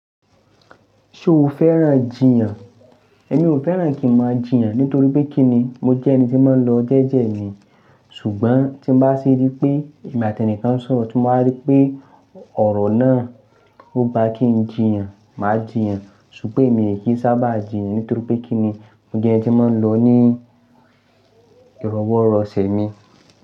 Ṣé o fẹ́ràn jìyàn? Emí ò fẹ́ràn kí n máa jìyàn nítorí pé kí ni, mo jẹ́ ẹni tí máa ń lọ jẹ́jẹ́ mi. Ṣùgbọ́n tí mo bá rí pé èmi àti ẹni kan ń sọ̀rọ̀, tí mo bá rí pé ọ̀rọ̀ náà ò bá kí n jìyàn, mà á jìyàn. Ṣùgbọ́n èmi kì í sábà jìyàn nítorí pé kí ni, mó jẹ́ ẹni tí máa ń lọ ní ìrọwọrọṣẹ ni.